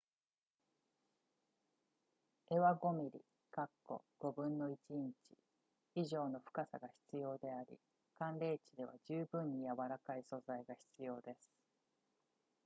柄は5 mm1/5 インチ以上の深さが必要であり寒冷地では十分に柔らかい素材が必要です